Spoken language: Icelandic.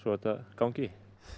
þetta gangi